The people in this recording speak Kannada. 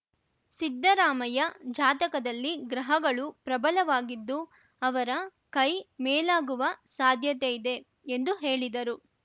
ಸಿದ್ದರಾಮಯ್ಯ ಜಾತಕದಲ್ಲಿ ಗ್ರಹಗಳು ಪ್ರಬಲವಾಗಿದ್ದು ಅವರ ಕೈ ಮೇಲಾಗುವ ಸಾಧ್ಯತೆ ಇದೆ ಎಂದು ಹೇಳಿದರು